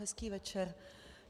Hezký večer.